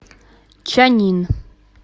чаннин